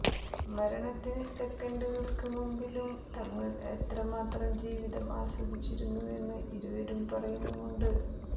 മരണത്തിന് സെക്കൻഡുകൾക്ക് മുമ്പിലും തങ്ങൾ എത്ര മാത്രം ജീവിതം ആസ്വദിച്ചിരുന്നുവെന്ന് ഇരുവരും പറയുന്നുമുണ്ട്